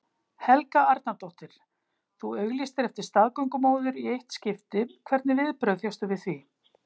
Helga Arnardóttir: Þú auglýstir eftir staðgöngumóður í eitt skipti, hvernig viðbrögð fékkstu við því?